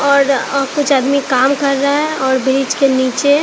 और अह कुछ आदमी काम कर रहे हैं और ब्रिज के नीचे--